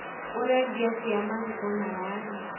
Ũrendia atĩa marigũ na waru?